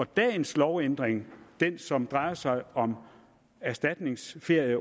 dagens lovændring den som drejer sig om erstatningsferie